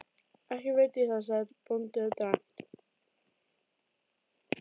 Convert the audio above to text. Ekki veit ég það, sagði bóndinn dræmt.